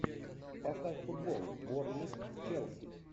поставь футбол борнмут челси